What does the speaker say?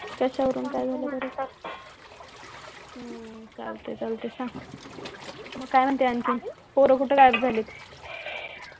कश्या वरून काय झालं तुला हम्म चालतंय चालतंय संग मग काय म्हणते आणखीन पोर कुठ गायब झालेत